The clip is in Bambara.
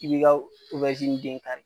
I bi ka den kari.